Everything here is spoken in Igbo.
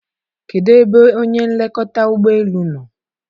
kedụ ebe onye nlekọta ụgbọ elu nọ?